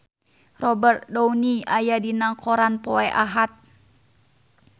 Robert Downey aya dina koran poe Ahad